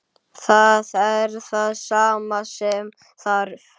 Það er það sem þarf.